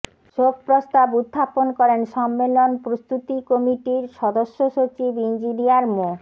শোক প্রস্তাব উত্থাপন করেন সম্মেলন প্রস্তুতি কমিটির সদস্যসচিব ইঞ্জিনিয়ার মো